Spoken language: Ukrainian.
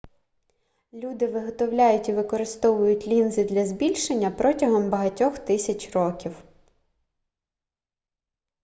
люди виготовляють і використовують лінзи для збільшення протягом багатьох тисяч років